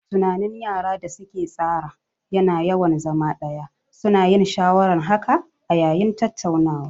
Tunanin yara da su ke tsara ya na yawan zama ɗaya, su na yin shawaran haka a yayin tattaunawa